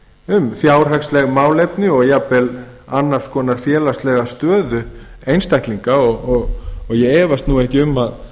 um fjárhagsleg málefni og annars konar félagslega stöðu einstaklinga og ég efast nú ekki um að